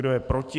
Kdo je proti?